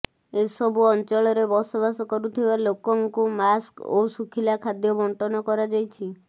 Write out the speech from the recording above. ଏସବୁ ଅଞ୍ଚଳରେ ବସବାସ କରୁଥିବା ଲୋକଙ୍କୁ ମାସ୍କ ଓ ଶୁଖିଲା ଖାଦ୍ୟ ବଣ୍ଟନ କରାଯାଇଛି